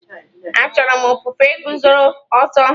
Achọrọ m ofufe guzoro ọtọ.